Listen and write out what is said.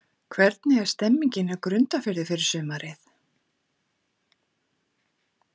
Hvernig er stemningin hjá Grundarfirði fyrir sumarið?